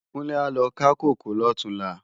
Kunle á lo ká kókòó lòtúnlá